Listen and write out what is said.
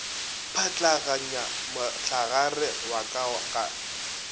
pšhatlaganya mohlagare wa ka ka